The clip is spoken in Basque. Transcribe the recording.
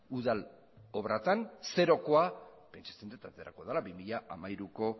udal obratan zerokoa pentsatzen dut zerokoa dela bi mila hamairuko